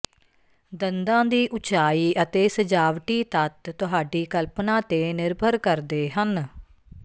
ਦੰਦਾਂ ਦੀ ਉਚਾਈ ਅਤੇ ਸਜਾਵਟੀ ਤੱਤ ਤੁਹਾਡੀ ਕਲਪਨਾ ਤੇ ਨਿਰਭਰ ਕਰਦੇ ਹਨ